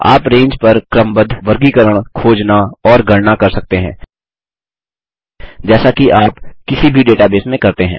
आप रेंज पर क्रमबद्ध वर्गीकरण खोजना और गणना कर सकते हैं जैसा कि आप किसी भी डेटाबेस में करते हैं